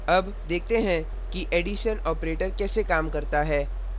अब देखते हैं कि एडिशन operator कैसे काम करता है